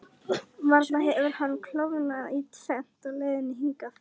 Varla hefur hann klofnað í tvennt á leiðinni hingað?